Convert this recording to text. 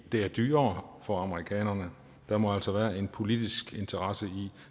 er dyrere for amerikanerne der må altså være en politisk interesse i